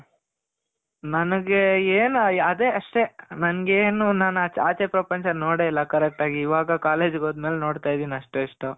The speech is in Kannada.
ನನ್ಗೆ ಏನು ಅದೇ ಅಷ್ಟೆ. ನನಗೇನು ನಾನು ಆಚೆ ಪ್ರಪಂಚ ನೋಡೇ ಇಲ್ಲ correct ಆಗಿ. ಇವಾಗ college ಗೆ ಹೋದಮೇಲೆ ನೋಡ್ತಾ ಇದಿನಿ ಅಷ್ಟೋ ಇಷ್ಟೋ